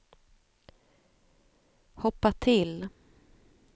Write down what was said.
hoppa till